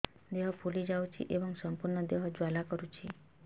ଦେହ ଫୁଲି ଯାଉଛି ଏବଂ ସମ୍ପୂର୍ଣ୍ଣ ଦେହ ଜ୍ୱାଳା କରୁଛି